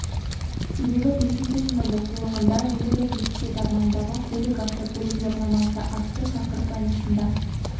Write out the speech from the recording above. себебі бесінші сынып оқулығында желілік этикет армандағы көлік автокөлік жарнамасы атты тақырып аясында